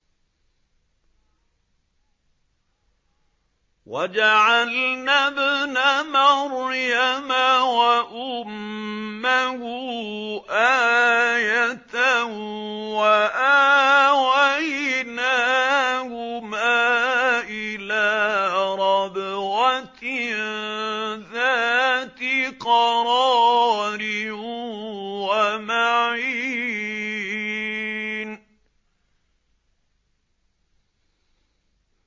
وَجَعَلْنَا ابْنَ مَرْيَمَ وَأُمَّهُ آيَةً وَآوَيْنَاهُمَا إِلَىٰ رَبْوَةٍ ذَاتِ قَرَارٍ وَمَعِينٍ